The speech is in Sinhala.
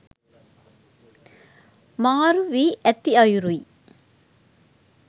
මාරු වී ඇති අයුරුයි.